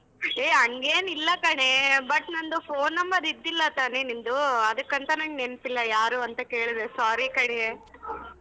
ಹೇ ಹಂಗೇನಿಲ್ಲ ಕಣೆ but ನಂದು phone number ಇದ್ದಿಲ್ಲ ತಾನೇ ನಿಂದು ಅದಕ್ಕಂತಾ ನಂಗ್ ನೆನ್ಪಿಲ್ಲ ಯಾರು ಅಂತ ಕೇಳ್ದೆ sorry ಕಣೆ.